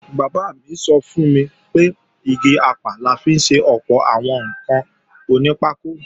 Bàbá mi sọ fún mi pé igi apá la fi ṣe ọ̀pọ̀ àwọn ǹkan onípákó